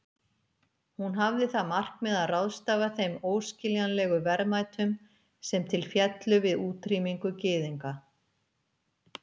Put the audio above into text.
Hún hafði það markmið að ráðstafa þeim óskiljanlegu verðmætum sem til féllu við útrýmingu gyðinga.